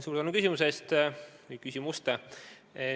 Suur tänu küsimuste eest!